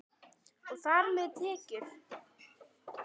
Og þar með tekjur.